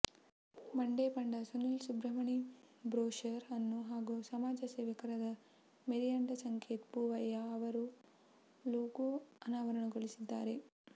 Mandepanda Sunil Subramani brochure ಅನ್ನು ಹಾಗೂ ಸಮಾಜ ಸೇವಕರಾದ ಮೇರಿಯಂಡ ಸಂಕೇತ್ ಪೂವಯ್ಯ ಅವರು ಲೋಗೋ ಅನಾವರಣಗೊಳಿಸಲಿದ್ದಾರೆ